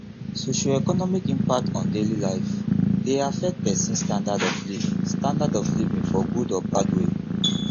socioeconomic impact on daily life de affect persin standard of living standard of living for good or bad way